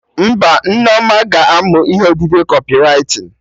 Mba, Nneoma ga-amụ ihe odide Kọpịwritin